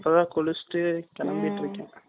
இப்ப தான் குளிச்சிட்டு கெளம்பிட்டு இருக்கன்